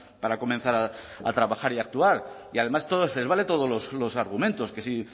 para comenzar a trabajar y actuar y además les vale todos los argumentos que si